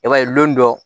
I b'a ye don dɔ